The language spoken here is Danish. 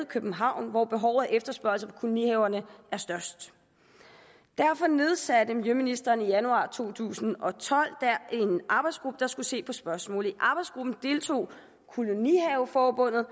københavn hvor behov og efterspørgsel på kolonihaverne er størst derfor nedsatte miljøministeren i januar to tusind og tolv en arbejdsgruppe der skulle se på spørgsmålet i arbejdsgruppen deltog kolonihaveforbundet